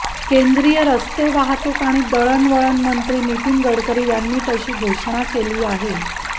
केंद्रीय रस्ते वाहतूक आणि दळणवळण मंत्री नितीन गडकरी यांनी तशी घोषणा केली आहे